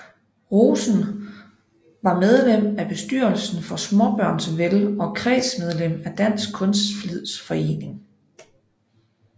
Rosen var medlem af bestyrelsen for Smaabørns Vel og kredsmedlem af Dansk Kunstflidsforening